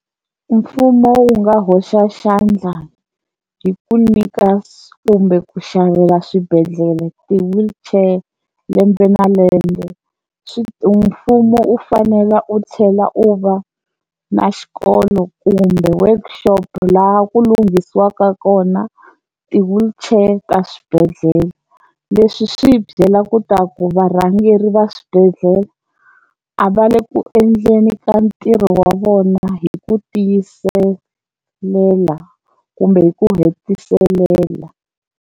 Mfumo wu nga hoxa xandla hi ku nyika kumbe ku xavela swibedhlele ti-wheelchair lembe na lembe, swi ti mfumo u fanela u chela u va na xikolo kumbe workshop laha ku lunghisiwaka kona ti-wheelchair ta swibedhlele leswi swi hi byela ku ta ku varhangeri va swibedhlele a va le ku endleni ka ntirho wa vona hi ku tiyiselela kumbe ku hetiselela.